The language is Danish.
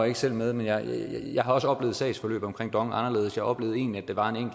ikke selv med men jeg har også oplevet sagsforløbet omkring dong anderledes jeg oplevede egentlig at det var en